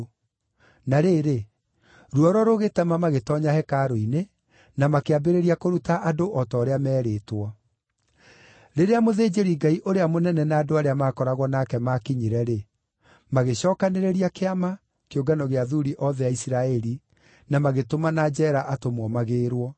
Na rĩrĩ, ruoro rũgĩtema magĩtoonya hekarũ-inĩ, na makĩambĩrĩria kũruta andũ o ta ũrĩa meerĩĩtwo. Rĩrĩa mũthĩnjĩri-Ngai ũrĩa mũnene na andũ arĩa maakoragwo nake maakinyire-rĩ, magĩcookanĩrĩria Kĩama, kĩũngano gĩa athuuri othe a Isiraeli, na magĩtũmana njeera atũmwo magĩĩrwo.